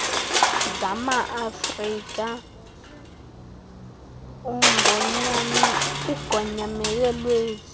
zamaafrika ugonyamelo lwezi